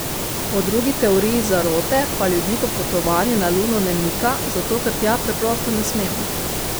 Po drugi teorij zarote pa ljudi popotovanje na Luno ne mika zato, ker tja preprosto ne smemo.